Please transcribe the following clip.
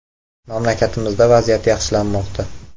“Mamlakatimizda vaziyat yaxshilanmoqda.